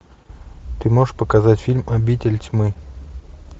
ты можешь показать фильм обитель тьмы